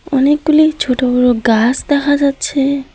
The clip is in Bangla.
অনেকগুলি ছোট বড় গাস দেহা যাচ্ছে।